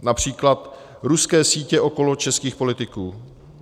Například ruské sítě okolo českých politiků.